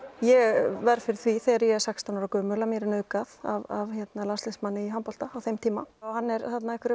ég verð fyrir því þegar ég er sextán ára að mér er nauðgað af landsliðsmanni í handbolta á þeim tíma og hann er